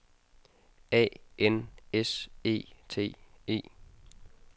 A N S E T E